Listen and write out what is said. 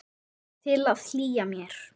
Til að hlýja mér.